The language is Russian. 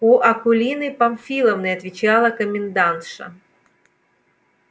у акулины памфиловны отвечала комендантша